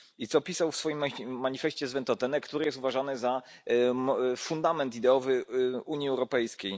I co pisał w swoim manifeście z Ventotene, który jest uważany za fundament ideowy Unii Europejskiej?